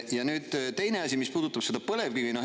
Ja nüüd, teine asi, mis puudutab seda põlevkivi.